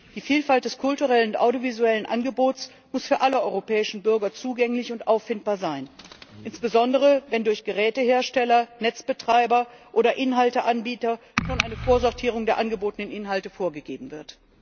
Die Vielfalt des kulturellen und audiovisuellen Angebots muss für alle europäischen Bürger zugänglich und auffindbar sein, insbesondere wenn durch Gerätehersteller, Netzbetreiber oder Inhalteanbieter schon eine Vorsortierung der angebotenen Inhalte vorgegeben wird.